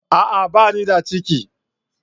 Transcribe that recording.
A'a! Ba ni da ciki.